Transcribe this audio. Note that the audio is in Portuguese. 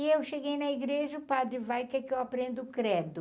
E eu cheguei na igreja e o padre vai, quer que eu aprenda o credo.